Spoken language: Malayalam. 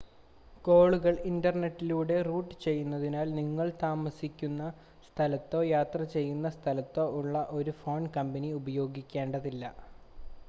കോളുകൾ ഇൻ്റർനെറ്റിലൂടെ റൂട്ട് ചെയ്യുന്നതിനാൽ നിങ്ങൾ താമസിക്കുന്ന സ്ഥലത്തോ യാത്ര ചെയ്യുന്ന സ്ഥലത്തോ ഉള്ള ഒരു ഫോൺ കമ്പനി ഉപയോഗിക്കേണ്ടതില്ല